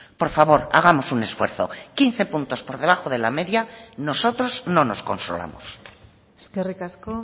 por favor hagamos un esfuerzo quince puntos por debajo de la media nosotros no nos consolamos eskerrik asko